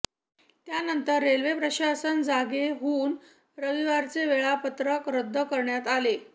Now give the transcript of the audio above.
त्यानंतर रेल्वे प्रशासन जागे होऊन रविवारचे वेळापत्रक रद्द करण्यात आले